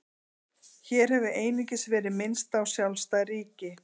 Hér hefur einungis verið minnst á sjálfstæð ríki.